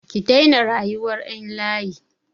Ki daina rayuwar ƴan layi!